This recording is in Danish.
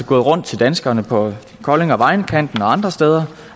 gået rundt til danskerne på kolding og vejenkanten og andre steder